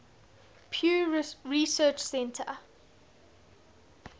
pew research center